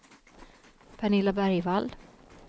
Pernilla Bergvall